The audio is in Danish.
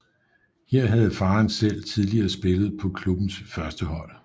Her havde faren selv tidligere spillet på klubbens førstehold